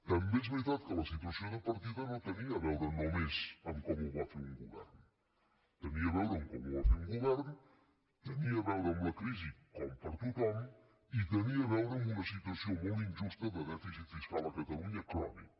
també és veritat que la situació de partida no tenia a veure només amb com ho va fer un govern tenia a veure amb com ho va fer un govern tenia a veure amb la crisi com per a tothom i tenia a veure amb una situació molt injusta de dèficit fiscal a catalunya crònic